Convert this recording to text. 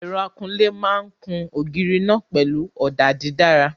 Ẹ̀rọ akunlé máa kun ògiri náà pẹ̀lú ọ̀dà dídára.